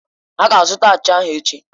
Ha ga-azụta achịcha ahụ echi.